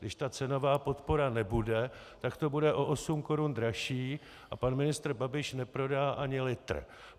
Když ta cenová podpora nebude, tak to bude o 8 korun dražší a pan ministr Babiš neprodá ani litr.